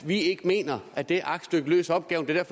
vi ikke mener at det aktstykke løser opgaven det er